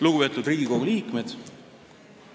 Lugupeetud Riigikogu liikmed!